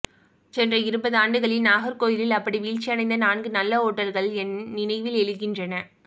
சென்ற இருபதாண்டுகளில் நாகர்கோயிலில் அப்படி வீழ்ச்சி அடைந்த நான்கு நல்ல ஓட்டல்கள் என் நினைவிலெழுகின்றன